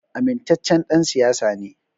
Amintaccen ɗan siyasa ne